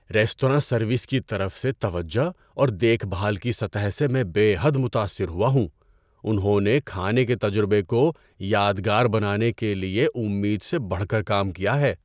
Restaurant service کی طرف سے توجہ اور دیکھ بھال کی سطح سے میں بے حد متاثر ہوا ہوں۔ انہوں نے کھانے کے تجربے کو یادگار بنانے کے لیے امید سے بڑھ کر کام کیا ہے۔